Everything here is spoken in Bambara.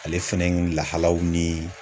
Ale fɛnɛ lahalaw ni.